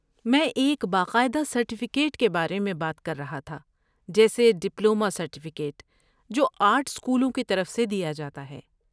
میں ایک باقاعدہ سرٹیفکیٹ کے بارے میں بات کر رہا تھا، جیسے ڈپلومہ سرٹیفکیٹ جو آرٹ اسکولوں کی طرف سے دیا جاتا ہے۔